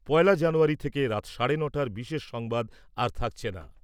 পয়লা জানুয়ারি থেকে রাত সাড়ে ন'টার বিশেষ সংবাদ আর থাকছে না।